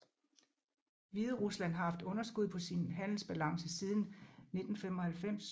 Hviderusland har haft underskud på sin handelsbalance siden 1995